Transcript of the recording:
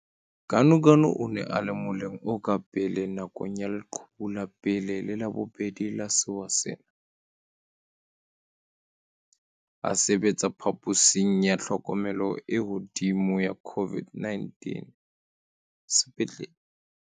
Ganuganu o ne a le moleng o ka pele nakong ya leqhubu la pele le la bobedi la sewa sena, a sebetsa phaposing ya tlhokomelo e hodimo ya COVID-19 sepetlele.